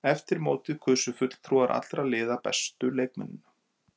Eftir mótið kusu fulltrúar allra liða bestu leikmennina.